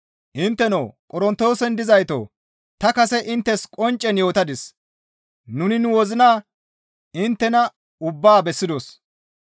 Intteno Qorontoosen dizaytoo! Ta kase inttes qonccen yootadis; nuni nu wozina inttena ubbaa bessidos.